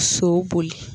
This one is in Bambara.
So boli